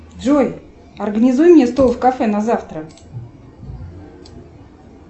джой организуй мне стол в кафе на завтра